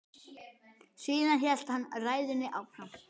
Síðan hélt hann ræðunni áfram